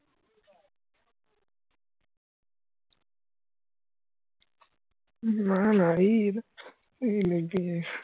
নানা রে